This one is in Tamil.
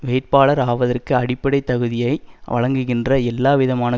வேட்பாளர் ஆவதற்கு அடிப்படைத்தகுதியை வழங்குகின்ற எல்லாவிதமான